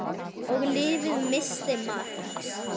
Og lyfið missti marks.